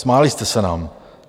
Smáli jste se nám.